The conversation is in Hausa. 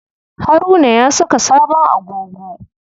Haruna ya saka sabon agogo.